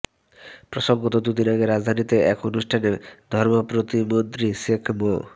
প্রসঙ্গত দুদিন আগে রাজধানীতে এক অনুষ্ঠানে ধর্মপ্রতিমন্ত্রী শেখ মো